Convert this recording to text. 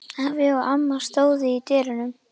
Afi og amma stóðu í dyrunum.